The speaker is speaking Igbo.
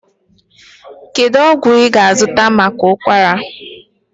Kedu ọgwụ ị ga-azụta maka ụkwara?